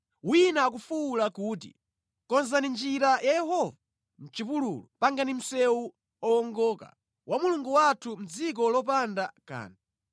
Mawu a wofuwula mʼchipululu akuti, “Konzani njira ya Yehova mʼchipululu; wongolani njira zake; msewu owongoka wa Mulungu wathu mʼdziko lopanda kanthu.